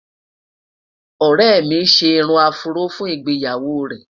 ọrẹ mí gbé irún afro fún ìgbéyàwó rè